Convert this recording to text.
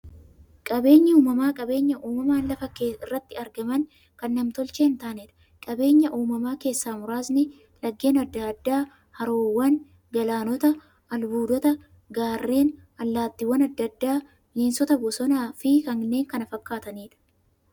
Qabeenyi uumamaa qabeenya uumamaan lafa irratti argamanii, kan nam-tolchee hintaaneedha. Qabeenya uumamaa keessaa muraasni; laggeen adda addaa, haroowwan, galaanota, albuudota, gaarreen, allattiiwwan adda addaa, bineensota bosonaa, bosonafi kanneen kana fakkataniidha.